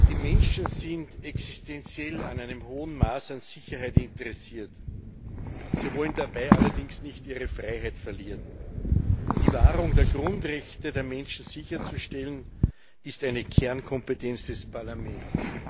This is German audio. Die Menschen sind existenziell an einem hohen Maß an Sicherheit interessiert sie wollen dabei allerdings nicht ihre Freiheit verlieren. Die Wahrung der Grundrechte der Menschen sicherzustellen, ist eine Kernkompetenz des Parlaments.